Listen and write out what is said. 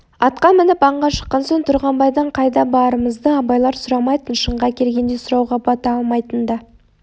атқа мініп аңға шыққан соң тұрғанбайдан қайда барымызды абайлар сұрамайтын шынға келгенде сұрауға бата алмайтын да